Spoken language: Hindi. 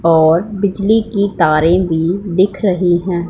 और बिजली की तारे भी दिख रही हैं।